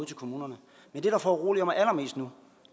til kommunerne men det der foruroliger mig allermest nu